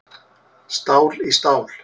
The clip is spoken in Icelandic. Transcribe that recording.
Stál í stál